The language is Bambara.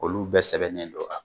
Olu bɛɛ sɛbɛnnen don a la